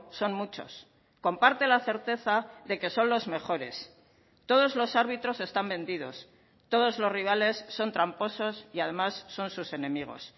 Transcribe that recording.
son muchos comparte la certeza de que son los mejores todos los árbitros están vendidos todos los rivales son tramposos y además son sus enemigos